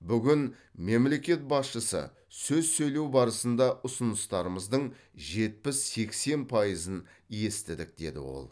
бүгін мемлекет басшысы сөз сөйлеу барысында ұсыныстарымыздың жетпіс сексен пайызын естідік деді ол